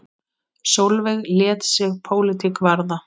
Sólveig lét sig pólitík varða.